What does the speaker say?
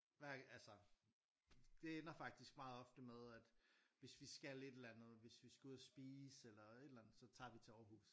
Hver altså det ender faktisk meget ofte med at hvis vi skal et eller andet hvis vi skal ud og spise eller et eller andet så tager vi til Aarhus